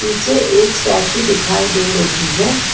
पीछे एक स्टैचू दिखाई दे रही है।